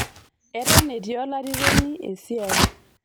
eton etii olarikoni esiaii